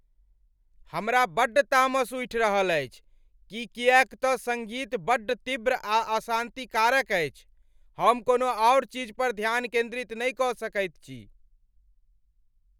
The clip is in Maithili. हमरा बड्ड तामस उइठ रहल अछि कि किएक त सङ्गीत बड्ड तीव्र आ अशान्तिकारक अछि। हम कोनो आओर चीज पर ध्यान केन्दित नहि कऽ सकैत छी।